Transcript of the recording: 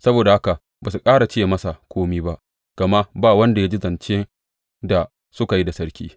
Saboda haka ba su ƙara ce masa kome ba, gama ba wanda ya ji zance da suka yi da sarki.